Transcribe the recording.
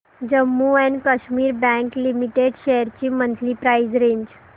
Jammu and Kashmir bank limited shares ची monthly price range